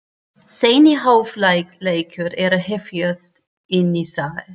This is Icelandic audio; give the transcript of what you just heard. Seinni hálfleikur er að hefjast inni í sal.